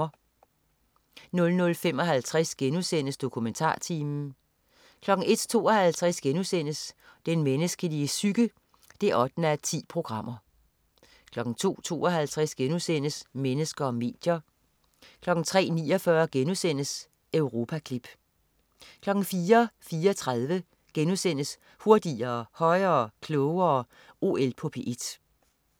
00.55 DokumentarTimen* 01.52 Den menneskelige psyke 8:10* 02.52 Mennesker og medier* 03.49 Europaklip* 04.34 Hurtigere, højere, klogere. OL på P1*